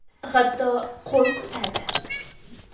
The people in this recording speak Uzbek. Hatto qo‘l ko‘tardi.